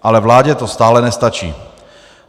Ale vládě to stále nestačí.